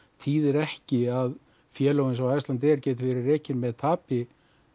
þýðir ekki að félög eins og Icelandair geti verið rekin með tapi